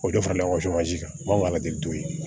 O de farala kan ka ladili to yi